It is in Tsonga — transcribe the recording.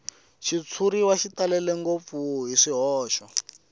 xitshuriwa xi talele ngopfu hi